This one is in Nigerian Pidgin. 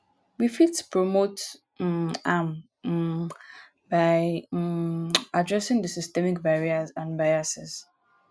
we fit promote um am um by um adressing di systemic barriers and biases.